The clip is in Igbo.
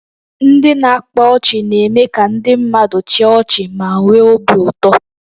Ndị na-akpa ọchị na-eme ka ndị mmadụ chịa ọchị ma nwee obi ụtọ